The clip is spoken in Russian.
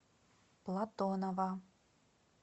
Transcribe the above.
платонова